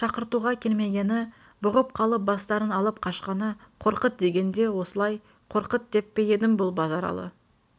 шақыртуға келмегені бұғып қалып бастарын алып қашқаны қорқыт дегенде осылай қорқыт деп пе едім бұл базаралы